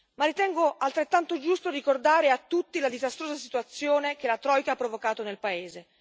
ma ritengo altrettanto giusto ricordare a tutti la disastrosa situazione che la troika ha provocato nel paese.